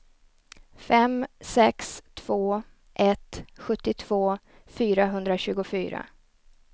fem sex två ett sjuttiotvå fyrahundratjugofyra